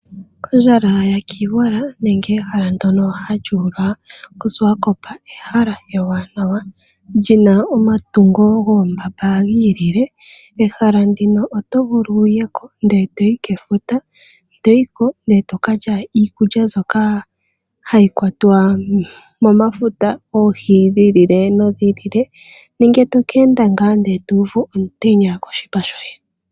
Ondjala yakiiwala nenge ehala ndyono halyuulwa koSwakop ehala ewanawa lyina omatungo goombamba giilile. Ehala ndino otovulu wuye ko ndee toyi kefuta, toyi ko ndee tokalya iikulya mbyoka hayi kwatwa momafuta, oohi dhiilile nodhiilile nenge tokeenda ngaa eto uvu omutenya koshipa shoye.